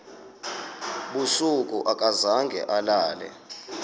busuku akazange alale